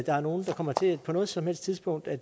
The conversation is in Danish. er nogen der kommer til på noget som helst tidspunkt at